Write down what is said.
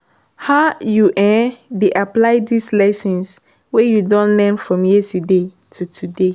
how you um dey apply di lessons wey you don learn from yesterday to today?